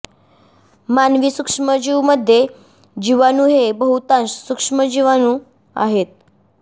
मानवी सूक्ष्मजीव मध्ये जीवाणू हे बहुतांश सूक्ष्म जीवाणू आहेत